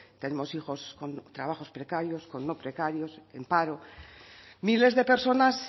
tenemos hijos con trabajos precarios con no precarios en paro miles de personas